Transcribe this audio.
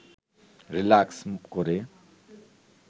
relax করে